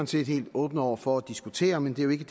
set helt åbne over for at diskutere men det er ikke